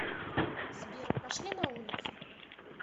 сбер пошли на улицу